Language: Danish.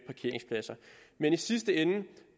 parkeringspladser men i sidste ende